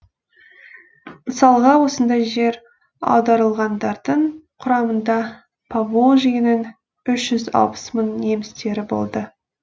мысалға осындай жер аударылғандардың құрамында поволжьенің үш жүз алпыс мың немістері болды